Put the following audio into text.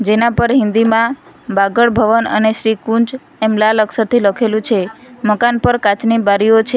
જેના પર હિન્દીમાં બાગડ ભવન અને શ્રીકુંજ એમ લાલ અક્ષરથી લખેલું છે મકાન પર કાચની બારીઓ છે.